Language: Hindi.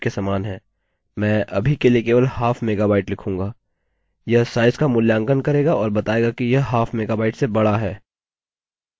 यह साइज का मूल्यांकन करेगा और बतायेगा कि यह हाफ मेगाबाइट से बड़ा है